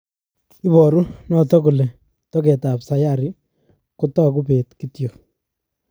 Iporu notok kole toket ap sayari Kotaku peet kityo.